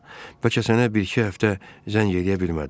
bəlkə sənə bir-iki həftə zəng eləyə bilmədim.